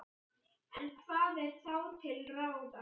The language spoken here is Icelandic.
En hvað er þá til ráða?